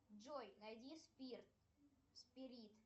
джой найди спирт спирит